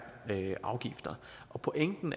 afgifter pointen